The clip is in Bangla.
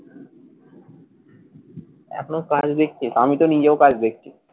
এখনও কাজ দেখছি। তা আমি তো নিজেও কাজ দেখছি।